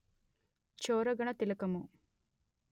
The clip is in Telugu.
చోరగణ తిలకము